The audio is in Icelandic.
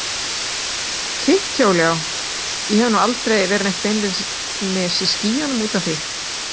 Þitt hjól já, ég hef nú aldrei verið neitt beinlínis í skýjunum út af því.